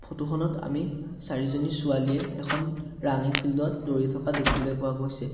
Photo খনত আমি চাৰিজনী ছোৱালীয়ে এখন ৰানিং ফিল্ড ত দৌৰি থকা দেখিবলৈ পোৱা গৈছে।